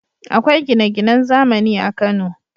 Akwai gine-ginan zamani a Kano.